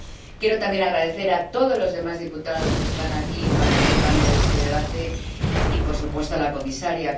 Quiero también agradecer a todos los demás diputados que están aquí participando en este debate y, por supuesto, a la comisaria.